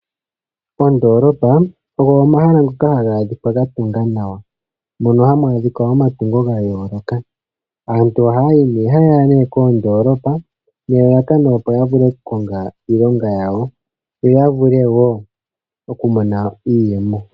Oondolopa ogo omahala ngoka haga adhika ga tunga nawa. Mono hamu adhika omatungo gayoloka. Aantu ohaya nee koondolopa nelalakano opo ya vule oku konga iilonga yawo yoya vule wo oku mona iiyemo.